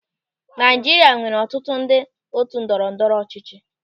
Naịjirịa nwere ọtụtụ ndị otu ndọrọ ndọrọ ọchịchị.